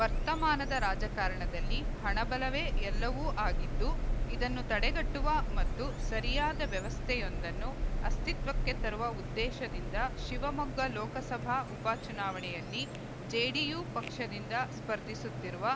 ವರ್ತಮಾನದ ರಾಜಕಾರಣದಲ್ಲಿ ಹಣಬಲವೇ ಎಲ್ಲವೂ ಆಗಿದ್ದು ಇದನ್ನು ತಡೆಗಟ್ಟುವ ಮತ್ತು ಸರಿಯಾದ ವ್ಯವಸ್ಥೆಯೊಂದನ್ನು ಅಸ್ತಿತ್ವಕ್ಕೆ ತರುವ ಉದ್ದೇಶದಿಂದ ಶಿವಮೊಗ್ಗ ಲೋಕಸಭಾ ಉಪ ಚುನಾವಣೆಯಲ್ಲಿ ಜೆಡಿಯು ಪಕ್ಷದಿಂದ ಸ್ಪರ್ಧಿಸುತ್ತಿರುವ